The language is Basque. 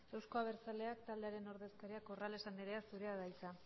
euzko abertzaleak taldearen ordezkaria corrales andrea zurea da hitza